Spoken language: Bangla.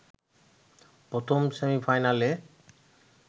প্রথম সেমিফাইনালে